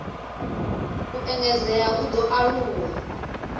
u engedzea u ḓo aluwa